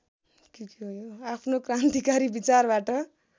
आफ्नो क्रान्तिकारी विचारबाट